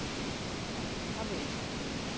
Ekta við.